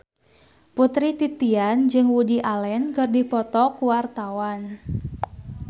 Putri Titian jeung Woody Allen keur dipoto ku wartawan